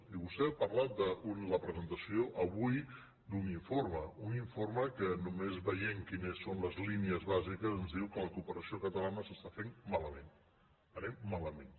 i vostè ha parlat de la presentació avui d’un informe un informe que només veient quines són les línies bàsiques ens diu que la cooperació catalana s’està fent ma lament anem malament